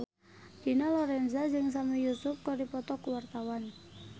Dina Lorenza jeung Sami Yusuf keur dipoto ku wartawan